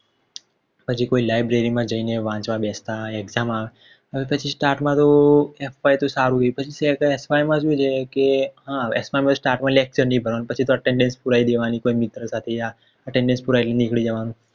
પછી કોઈ library માં જઈને વાંચવા Best exam આવે પછી fy તો સારું ગયું પછી શેર કરે fy માં તો શું છે કે Start માં lecture ની ભરવા ના પછી તો Attendance પુરાય દેવાની કોઈ મિત્ર સાથે Attendance પુરાય ને નીકળી જવાનું